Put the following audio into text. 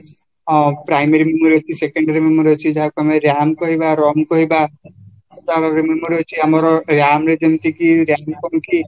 ଅଂ primary memory ଅଛି secondary memory ଅଛି ଯାହାକୁ ଆମେ ram କହିବା ROM କହିବା ତାର memory ଆମର ram ରେ ଯେମିତିକି